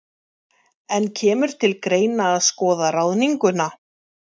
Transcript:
En kemur til greina að endurskoða ráðninguna?